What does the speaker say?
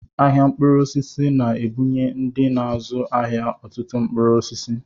Ahịa mkpụrụ osisi na-ebunye ndị na-azụ ahịa ọtụtụ mkpụrụ osisi